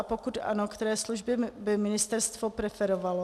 A pokud ano, které služby by ministerstvo preferovalo?